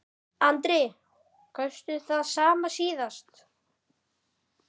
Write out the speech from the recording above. Andri: Kaustu það sama síðast?